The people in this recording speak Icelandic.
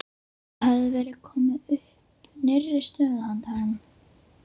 Það hafði verið komið upp nýrri stöðu handa honum.